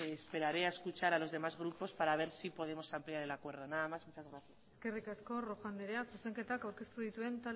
esperaré a escuchar a los demás grupos para ver si podemos ampliar el acuerdo nada más muchas gracias eskerrik asko rojo andrea zuzenketak aurkeztu